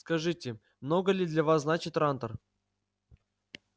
скажите много ли для вас значит трантор